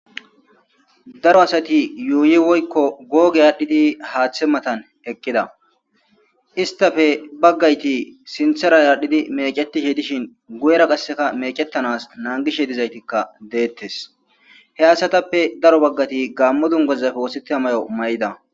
Darro assati yuyi adhidi hathe mattani eqidda enitappe baggati sinithara mecetidda guyera qaasi mecetanawu nanigesi he assatappe bagati gamo dunguza mayida